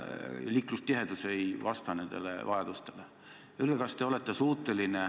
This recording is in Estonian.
Liiklustihedus ei vasta nendele vajadustele.